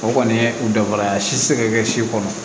O kɔni ye u dafara ye a si tɛ se ka kɛ si kɔnɔ